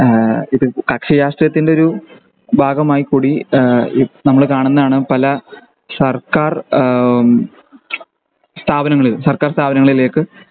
ഈഹ് ഇത് കക്ഷി രാഷ്ട്രീയത്തിൻ്റെ ഒരു ഭാഗമായികൂടി ഏഹ് നമ്മൾ കാണുന്നതാണ് പല സർക്കാർ എഹ്മ് സ്ഥാപനങ്ങളിൽ സർക്കാർ സ്ഥാപനങ്ങളിലേക്